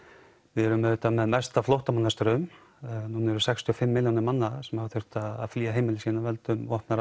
við erum með mesta flóttamannastraum því nú eru sextíu og fimm milljónir manna sem hafa þurft að flýja heimili sín af völdum vopnaðra